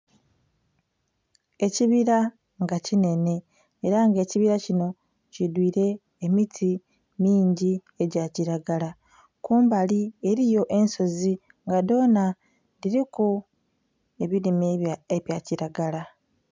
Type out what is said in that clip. Ekibira nga kinhenhe era nga ekibira kino kidhwiire emiti mingi egyakiragala kumbali eriyo ensozi nga dhona dhiriku ebirime ebyakiragala.